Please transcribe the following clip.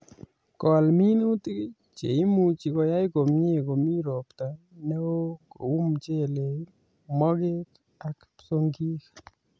Kol minutik che imuchi koyai komye Komii robta neoo kou mchelek, mogek ak psongik